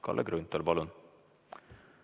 Kalle Grünthal, palun!